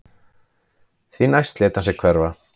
Því næst lét hann sig hverfa